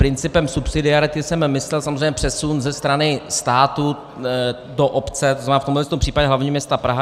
Principem subsidiarity jsem myslel samozřejmě přesun ze strany státu do obce, to znamená, v tomhle případě hlavního města Prahy.